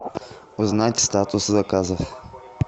узнать статус заказов